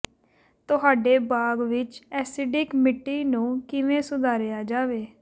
ਤੁਹਾਡੇ ਬਾਗ਼ ਵਿਚ ਐਸਿਡਿਕ ਮਿੱਟੀ ਨੂੰ ਕਿਵੇਂ ਸੁਧਾਰਿਆ ਜਾਵੇ